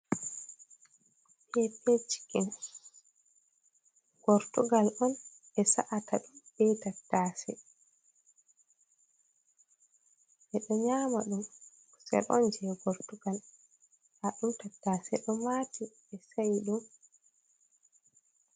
Pepe cikin, gortugal on ɓesa’ata ɗum be tattase, ɓeɗo nyama ɗum, se ɗon je gortugal nda ɗum tattase ɗo mati ɓe sa'i ɗum.